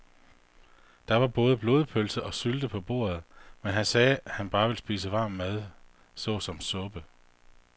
Der var både blodpølse og sylte på bordet, men han sagde, at han bare ville spise varm mad såsom suppe.